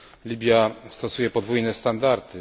Libia stosuje podwójne standardy.